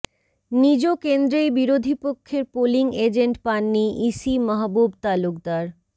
নিজ কেন্দ্রেই বিরোধীপক্ষের পোলিং এজেন্ট পাননি ইসি মাহবুব তালুকদার